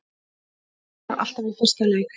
Skorar alltaf í fyrsta leik